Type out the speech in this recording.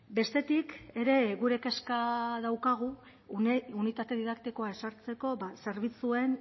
bestetik ere gure kezka daukagu unitate didaktikoa ezartzeko zerbitzuen